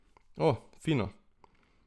O, fino!